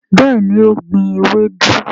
béèni o gbìn ewedu.